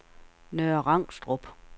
Nørre Rangstrup